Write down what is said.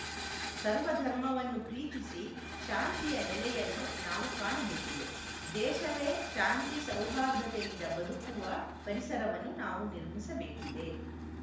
ಸರ್ವ ಧರ್ಮವನ್ನು ಪ್ರೀತಿಸಿ ಶಾಂತಿಯ ನೆಲೆಯನ್ನು ನಾವು ಕಾಣಬೇಕಿದೆ ದೇಶವೇ ಶಾಂತಿ ಸೌಹಾರ್ಧತೆಯಿಂದ ಬದುಕುವ ಪರಿಸರವನ್ನು ನಾವು ನಿರ್ಮಿಸಬೇಕಿದೆ